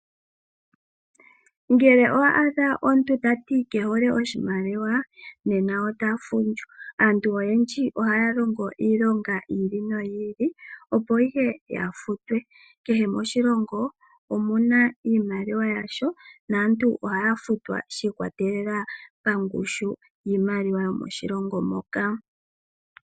Ngele owa adha omuntu tati kehole oshimaliwa nena ota fundju. Ano aanru oyendji ohaya longo iilonga yi ili no yi ili opo ya futwe. Kehe moshilongo omuna iimaliwa yasho naantu ohaya futwa shiikwatelela kongushu yiimaliwa yomoshilongo moka.